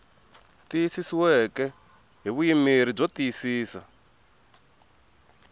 tiyisisiweke hi vuyimeri byo tiyisisa